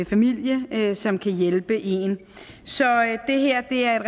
familie som kan hjælpe en så det her er et